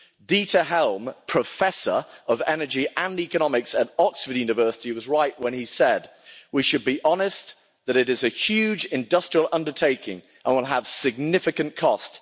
Dieter Helm, Professor of Energy and Economics at Oxford University, was right when he said We should be honest that it is a huge industrial undertaking, and it will have significant cost.